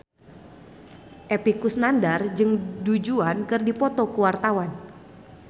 Epy Kusnandar jeung Du Juan keur dipoto ku wartawan